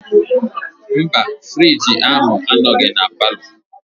Mba frigi ahụ anọghị na palọ.